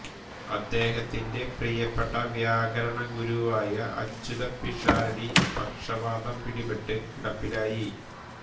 അദ്ദേഹത്തിന്റെ പ്രിയപ്പെട്ട വ്യാകരണ ഗുരുവായ അച്യുത പിഷാരടി പക്ഷവാതം പിടിപെട്ട് കിടപ്പിലായി